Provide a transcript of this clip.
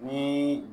Ni